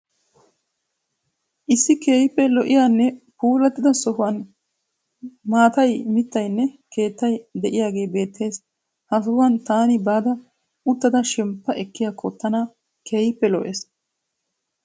Issi keehippe lo'iyanne puullatida sohuwan maatayi, mittayinne keettay de'iyagee beettes. Ha sohuwan taani baada uttada shemppa ekkiyakkon taana keehippe lo'ees.